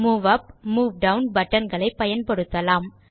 move up move down button களை பயன்படுத்தலாம்